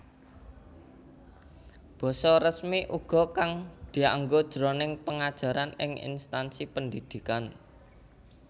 Basa resmi uga kang dianggo jroning pengajaran ing instansi pendhidhikan